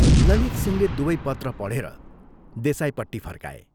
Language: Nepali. " ललितसिंहले दुवै पत्र पढेर देसाईपट्टि फर्काए।